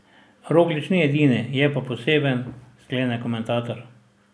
Roglič ni edini, je pa poseben, sklene komentator.